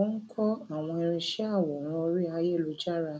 ó ń kọ àwọn irinṣẹ àwòrán orí ayélujára